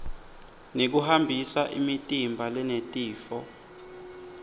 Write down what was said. nekuhambisa imitimba lenetifo